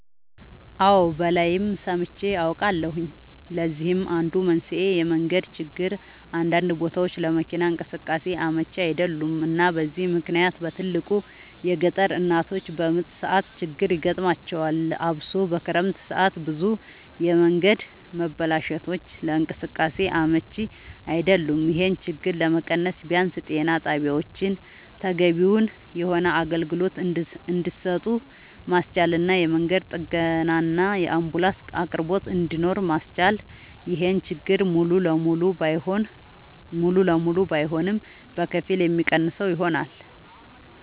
አወ ባላይም ሰምቼ አውቃለሁኝ ለዚህም አንዱ መንስኤ የመንገድ ችግር አንዳንድ ቦታወች ለመኪና እንቅስቃሴ አመች አይደሉም እና በዚህ ምክንያት በትልቁ የገጠር እናቶች በምጥ ሰዓት ችግር ይገጥማቸዋል አብሶ በክረምት ሰዓት ብዙ የመንገድ መበላሸቶች ለእንቅስቃሴ አመች አይደሉም ይሄን ችግር ለመቀነስ ቢያንስ ጤና ጣቢያወችን ተገቢውን የሆነ አገልግሎት እንድሰጡ ማስቻልና የመንገድ ጥገናና የአንቡላንስ አቅርቦት እንድኖር ማስቻል ይሄን ችግር ሙሉ ለሙሉ ባይሆንም በከፊል የሚቀንሰው ይሆናል